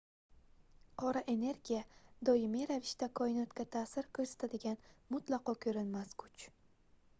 qora energiya doimiy ravishda koinotga taʼsir koʻrsatadigan mutlaqo koʻrinmas kuch